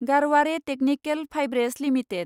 Garware technical fibres limited